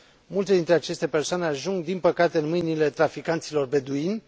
Multe dintre aceste persoane ajung, din păcate, în mâinile traficanților beduini.